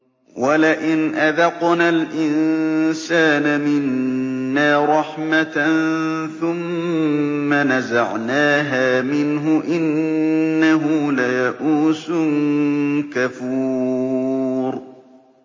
وَلَئِنْ أَذَقْنَا الْإِنسَانَ مِنَّا رَحْمَةً ثُمَّ نَزَعْنَاهَا مِنْهُ إِنَّهُ لَيَئُوسٌ كَفُورٌ